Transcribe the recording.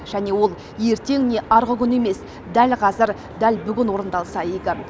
және ол ертең не арғы күні емес дәл қазір дәл бүгін орындалса игі